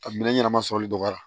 A minɛn ɲɛnama sɔrɔli dɔgɔyara